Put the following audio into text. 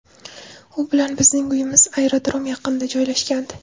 U bilan bizning uyimiz aerodrom yaqinida joylashgandi.